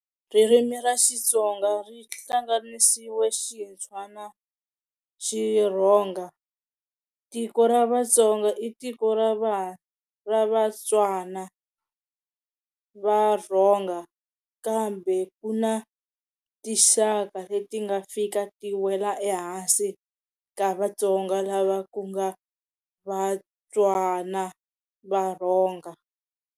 Ririmi ra Xitsonga ku hlanganisiwe Xitswa na Xirhonga, tiko ra Vatsonga i tiko ra Va-Tswa na Va-Rhonga kambe kuna ti xaka leti nga fika ti wela ehansi ka Vatsonga lava kunga Va-Tswa na Va-Rhonga.